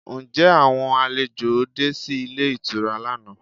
Ǹjẹ́ àwọn àlejò de sí ilé ìtura lánàá?